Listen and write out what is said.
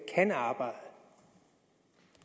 kan arbejde